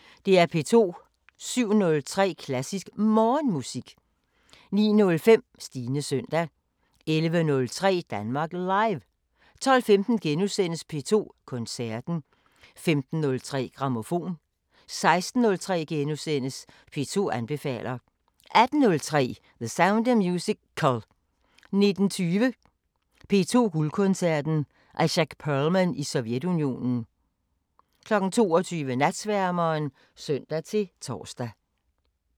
07:03: Klassisk Morgenmusik 09:05: Stines søndag 11:03: Danmark Live 12:15: P2 Koncerten * 15:03: Grammofon 16:03: P2 anbefaler * 18:03: The Sound of Musical 19:20: P2 Guldkoncerten: Itzhak Perlman i Sovjetunionen 22:00: Natsværmeren (søn-tor)